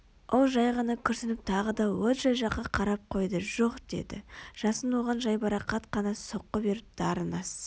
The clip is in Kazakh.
ол жай ғана күрсініп тағы да лоджия жаққа қарап қойды жоқ деді жасын оған жайбарақат қана соққы беріп дарын аз